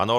Ano.